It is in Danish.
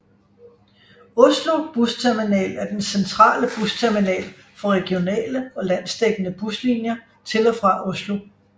Oslo bussterminal er den centrale busterminal for regionale og landsdækkende buslinier til og fra Oslo